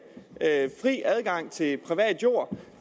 fri adgang til privat jord